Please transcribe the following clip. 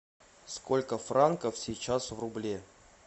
сколько франков сейчас в рубле